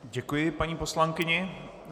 Děkuji paní poslankyni.